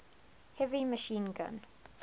heavy machine gun